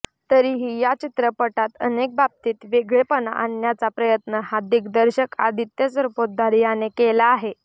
तरीही या चित्रपटात अनेक बाबतीत वेगळेपणा आणण्याचा प्रयत्न हा दिग्दर्शक आदित्य सरपोतदार याने केला आहे